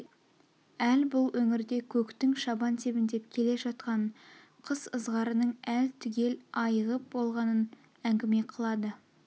әл бұл өңірде көктің шабан тебіндеп келе жатқанын қыс ызғарының әл түгел айығып болғанын әңгіме қылады